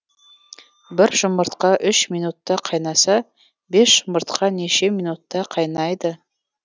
бір жұмыртқа үш минутта қайнаса бес жұмыртқа неше минутта қайнайды